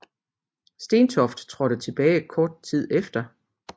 Stentoft trådte tilbage kort tid derefter